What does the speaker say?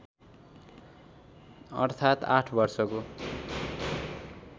अर्थात् आठ वर्षको